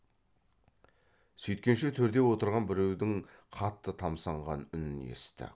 сөйткенше төрде отырған біреудің қатты тамсанған үнін есітті